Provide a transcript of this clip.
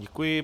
Děkuji.